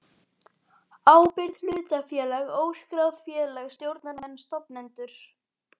ábyrgð hlutafélag óskráð félag stjórnarmenn stofnendur